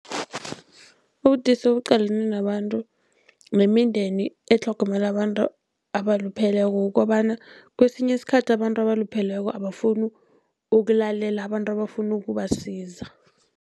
Ubudisi obuqalene nabantu nemindeni etlhogomela abantu abalupheleko, kukobana kesinye isikhathi abantu abalupheleko abafuni ukulalela abantu abafuna ukubasiza.